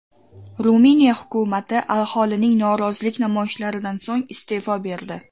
Ruminiya hukumati aholining norozilik namoyishlaridan so‘ng iste’fo berdi.